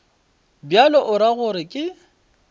bjalo o ra gore ke